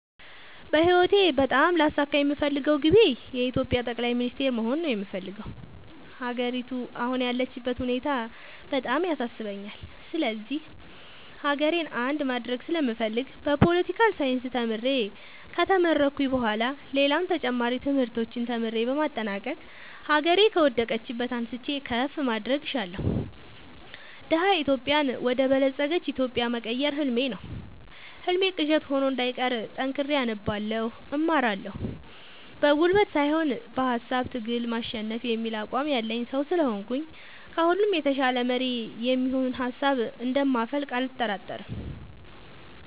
በህይወቴ በጣም ላሳካ የምፈልገው ግቤ የኢትዮጵያ ጠቅላይ ሚኒስተር መሆን ነው የምፈልገው። ሀገሪቱ አሁን ያለችበት ሁኔታ በጣም ያሳስበኛል ስለዚህ ሀገሬን አንድ ማድረግ ስለምፈልግ በፓለቲካል ሳይንስ ተምሬ ከተመረኩኝ በኋላ ሌላም ተጨማሪ ትምህርቶችን ተምሬ በማጠናቀቅ ሀገሬ ከወደቀችበት አንስቼ ከፍ ማድረግ እሻለሁ። ደሀ ኢትዮጵያን ወደ በለፀገች ኢትዮጵያ መቀየር ህልሜ ነው ህልሜ ቅዠት ሆኖ እንዳይቀር ጠንክሬ አነባለሁ እማራለሁ። በጉልበት ሳይሆን በሃሳብ ትግል ማሸነፍ የሚል አቋም ያለኝ ሰው ስለሆንኩኝ ከሁሉ የተሻለ መሪ የሚሆን ሀሳብ እንደ ማፈልቅ አልጠራጠርም።